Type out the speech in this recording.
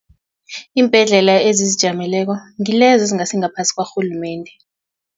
Iimbhedlela ezizijameleko ngilezo ezingasingaphasi kwarhulumende.